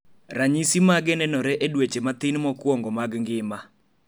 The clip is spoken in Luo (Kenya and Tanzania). ranyisi mage nenore e dweche mathin mokuongo mag ngima